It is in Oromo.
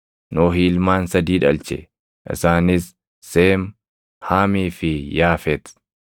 Nohi ilmaan sadii dhalche; isaanis: Seem, Haamii fi Yaafet.